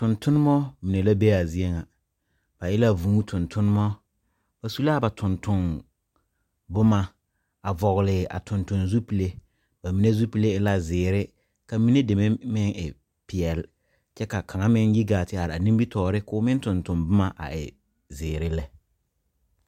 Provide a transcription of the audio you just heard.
Tontonemɔ mine la be a zie ŋa, ba e la vũũ tontonemɔ, ba su la a ba tontomboma a vɔgle a tontonzupile. Ba mine zupile e la zeere ka mine deme meŋ e peɛle kyɛ ka kaŋa meŋ yi gaa te are a nimitɔɔre ka meŋ tontonboma a e zeere lɛ